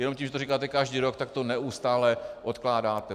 Jen tím, že to říkáte každý rok, tak to neustále odkládáte.